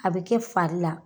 A bɛ kɛ fari la.